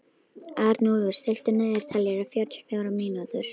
Arnúlfur, stilltu niðurteljara á fjörutíu og fjórar mínútur.